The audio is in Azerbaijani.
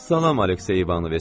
Salam, Aleksey İvanoviç!